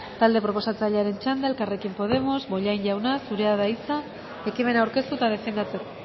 talde proposatzailearen txanda elkarrekin podemos bollain jauna zurea da hitza ekimena aurkeztu eta defendatzeko